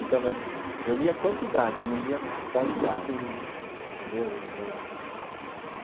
Então, mas eu lia quantidade, eu não lia qualidade, entendeu? Eh.